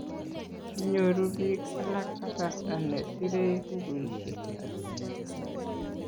kinyoru biik alak kasarta ne serei bukuisiek